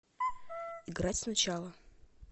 играть сначала